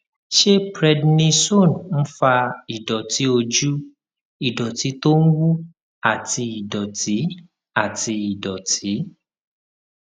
ṣé prednisone ń fa ìdòtí ojú ìdòtí tó ń wú àti ìdòtí àti ìdòtí